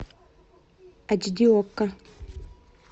эйч ди окко